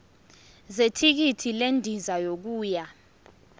zethikithi lendiza yokuya